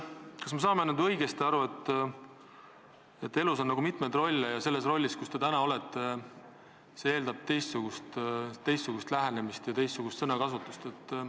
Kas me saame õigesti aru, et elus on mitmeid rolle ja see roll, milles te täna olete, eeldab teistsugust lähenemist ja teistsugust sõnakasutust?